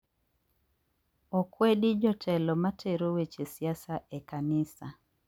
Okwedi jotelo matero weche siasa e kanisa